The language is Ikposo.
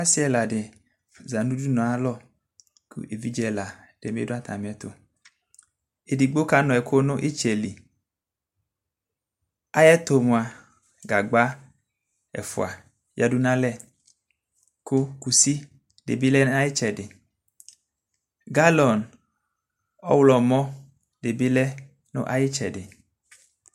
Ɔsɩ ɛla dɩ za nʋ udunu ayalɔ kʋ evidze ɛla bɩ dʋ atamɩɛtʋ Edigbo kanʋ ɛkʋ nʋ ɩtsɛ li Ayɛtʋ mʋa, gagba ɛfʋa yǝdu nʋ alɛ kʋ kusi dɩ bɩ lɛ nʋ ayʋ ɩtsɛdɩ Galɔn ɔɣlɔmɔ dɩ bɩ lɛ nʋ ayʋ ɩtsɛdɩ